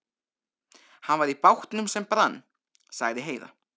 Hann var í bátnum sem brann, sagði Heiða.